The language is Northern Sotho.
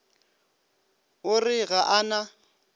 o re ga a na